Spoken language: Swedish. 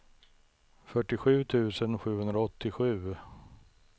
fyrtiosju tusen sjuhundraåttiosju